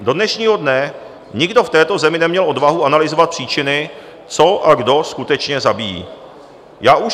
Do dnešního dne nikdo v této zemi neměl odvahu analyzovat příčiny, co a kdo skutečně zabíjí.